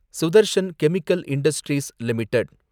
Sudarshan chemical industries limited